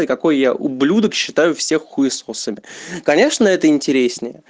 какой я ублюдак считаю все хуесосами конечно это интереснее